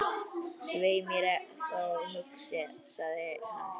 Svei mér þá, hugsaði hann.